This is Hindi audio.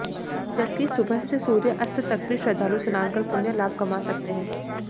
जबकि सुबह से सूर्य अस्त तक भी श्रद्धालु स्नान कर पुण्य लाभ कमा सकते हैं